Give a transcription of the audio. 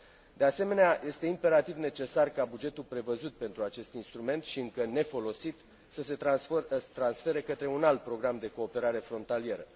De asemenea, este imperativ necesar ca bugetul prevăzut pentru acest instrument și încă nefolosit să se transfere către un alt program de cooperare frontalieră.